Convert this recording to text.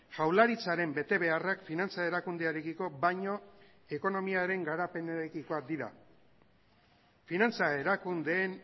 jaurlaritzaren betebeharrak finantza erakundearekiko baino ekonomiaren garapenarekikoak dira finantza erakundeen